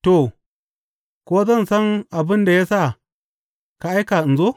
To, ko zan san abin da ya sa ka aika in zo?